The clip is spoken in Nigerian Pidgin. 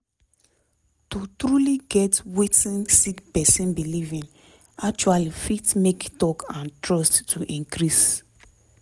to truly get wetin sick pesin belief in actually fit make talk and trust to increase